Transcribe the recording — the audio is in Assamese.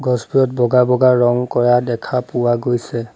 গছবোৰত বগা বগা ৰং কৰা দেখা পোৱা গৈছে।